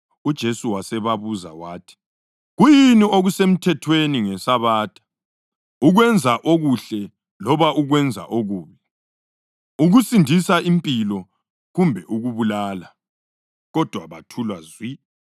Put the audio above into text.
UJesu wasebabuza wathi, “Kuyini okusemthethweni ngeSabatha; ukwenza okuhle loba ukwenza okubi, ukusindisa impilo kumbe ukubulala?” Kodwa bathula zwi.